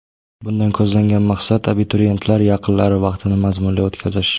Bundan ko‘zlangan maqsad abituriyentlar yaqinlari vaqtini mazmunli o‘tkazish.